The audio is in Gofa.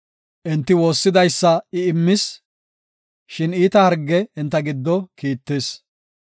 Enti woossidaysa I immis; shin iita harge enta giddo kiittis.